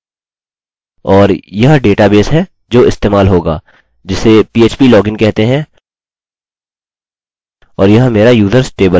और यह डेटाबेस है जो इस्तेमाल होगा जिसे php login कहते हैं और यह मेरा users टेबल है